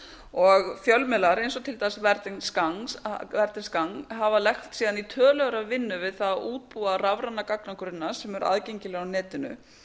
og fjölmiðlar eins og til dæmis verdens gang haft lagst síðan í töluverða vinnu við það að útbúa rafræna gagnagrunna sem eru aðgengilegir á netinu